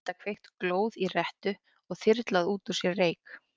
Að geta kveikt glóð í rettu og þyrlað út úr sér reyk.